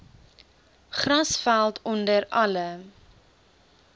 grasveld onder alle